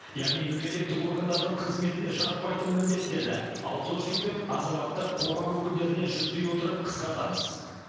яғни мемлекеттік органдардың қызметіне жатпайтын міндеттерді аутсорсинг пен азаматтық қоғам өкілдеріне жүктей отырып қысқартамыз